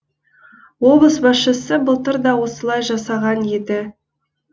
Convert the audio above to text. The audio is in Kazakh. облыс басшысы былтыр да осылай жасаған еді